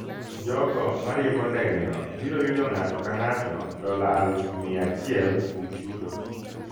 Jogo ma riembo ndegeno biro yudo ng'ato ka ng'ato dola aluf miya achiel kuom chudo